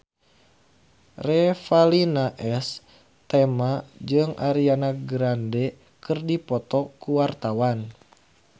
Revalina S. Temat jeung Ariana Grande keur dipoto ku wartawan